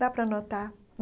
Dá para anotar.